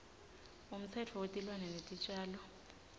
umtsetfo wetilwane netitjalo